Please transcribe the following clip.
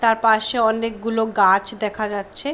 তার পাশে অনেকগুলো গাছ দেখা যাচ্ছে ।